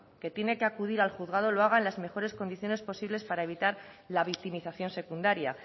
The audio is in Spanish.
que tiene que acudir al juzgado lo haga en las mejores condiciones posibles para evitar la victimización secundaria